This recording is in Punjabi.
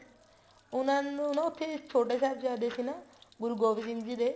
ਉਹਨਾ ਨੂੰ ਨਾ ਉੱਥੇ ਛੋਟੇ ਸਾਹਿਬਜ਼ਾਦੇ ਸੀ ਨਾ ਗੁਰੂ ਗੋਬਿੰਦ ਸਿੰਘ ਜੀ ਦੇ